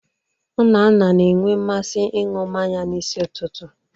Nna nna na-enwe mmasị ịṅụ mmanya n'isi ụtụtụ.